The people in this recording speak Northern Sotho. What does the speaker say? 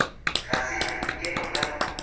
ga se a ikema ka